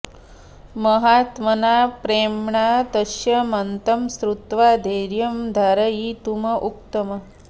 महात्मना प्रेम्णा तस्य मतं श्रुत्वा धैर्यं धारयितुम् उक्तम्